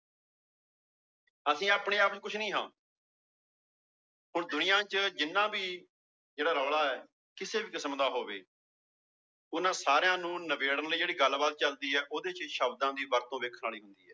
ਅਸੀਂ ਆਪਣੇ ਆਪ ਚ ਕੁਛ ਨੀ ਹਾਂ ਹੁਣ ਦੁਨੀਆਂ ਚ ਜਿੰਨਾ ਵੀ ਜਿਹੜਾ ਰੌਲਾ ਹੈ ਕਿਸੇ ਵੀ ਕਿਸਮ ਦਾ ਹੋਵੇ ਉਹਨਾਂ ਸਾਰਿਆਂ ਨੂੰ ਨਿਬੇੜਨ ਲਈ ਜਿਹੜੀ ਗੱਲਬਾਤ ਚੱਲਦੀ ਹੈ ਉਹਦੇ ਚ ਸ਼ਬਦਾਂ ਦੀ ਵਰਤੋਂ ਵੇਖਣ ਵਾਲੀ ਹੁੰਦੀ ਹੈ।